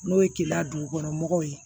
N'o ye keleya dugukɔnɔmɔgɔw ye